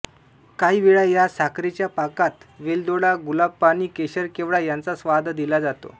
काही वेळा या साखरेच्या पाकात वेलदोडा गुलाबपाणी केशर केवडा यांचा स्वाद दिला जातो